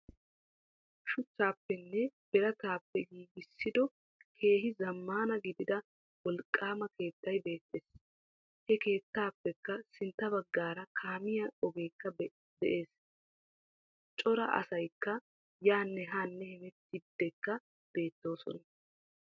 shuchchaappenne birattappe gigissido keehi zaammana gidida wolqqama keettay beettees. he keettappekka sintta baggara kaamiya ogeekka de'ees. coora asaykka yannee hannee hamettiydikka beettosonna.